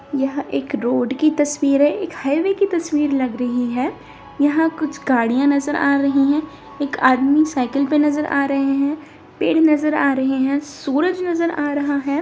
यह एक रोड की तस्वीर है एक हाइवे की तस्वीर लग रही है यहाँ कुछ गाड़ियाँ नज़र आ रही हैं एक आदमी साइकिल पे नज़र आ रहे हैं पेड़ नज़र आ रहे हैं सूरज नज़र आ रहा है।